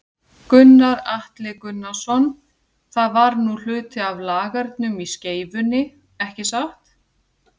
Gunnar Atli Gunnarsson: Það var nú hluti af lagernum í Skeifunni, ekki satt?